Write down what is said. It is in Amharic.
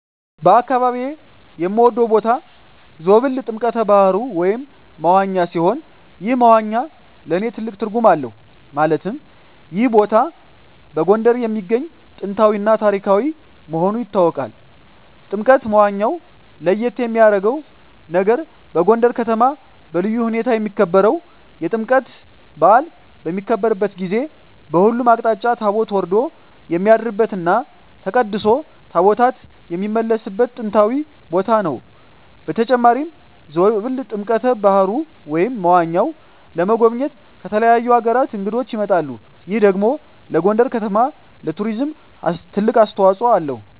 በአካባቢየ የምወደው ቦታ ዞብል ጥምቀተ ባህሩ (መዋኛ) ሲሆን ይህ መዋኛ ለእኔ ትልቅ ትርጉም አለው ማለትም ይህ ቦታ በጎንደር የሚገኝ ጥንታዊ እና ታሪካዊ መሆኑ ይታወቃል። ጥምቀተ መዋኛው ለየት የሚያረገው ነገር በጎንደር ከተማ በልዩ ሁኔታ የሚከበረው የጥምቀት በአል በሚከበርበት ጊዜ በሁሉም አቅጣጫ ታቦት ወርዶ የሚያድርበት እና ተቀድሶ ታቦታት የሚመለስበት ጥንታዊ ቦታ ነው። በተጨማሪም ዞብል ጥምቀተ በሀሩ (መዋኛው) ለመጎብኘት ከተለያዩ አገራት እንግዶች ይመጣሉ ይህ ደግሞ ለጎንደር ከተማ ለቱሪዝም ትልቅ አስተዋጽኦ አለው።